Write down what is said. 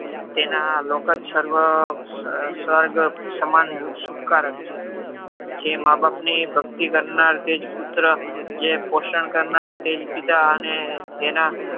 તેના લોક જ સર્વ સ્વર્ગ સમન સુખકારક છે. જે માબાપની ભક્તિ કરનાર જે પુત્ર જે પોષણ કરનાર તે જ પિતા અને જેના